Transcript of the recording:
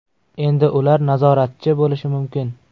Endi ular nazoratchi bo‘lishi mumkin.